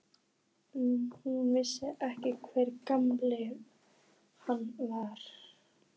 Hún vissi ekki hve gamall hann var.